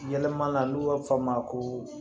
Yɛlɛma na n'u b'a fɔ a ma ko